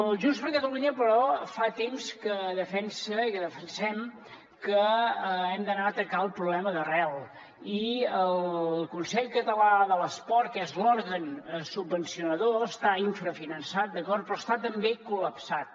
junts per catalunya però fa temps que defensa i que defensem que hem d’anar a atacar el problema d’arrel i el consell català de l’esport que és l’òrgan subvencionador està infrafinançat d’acord però està també col·lapsat